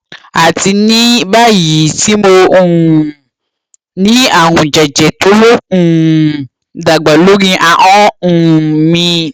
àti ní báyìí tí mo um ní àrùn jẹjẹ tó ń um dàgbà lórí ahọn um mi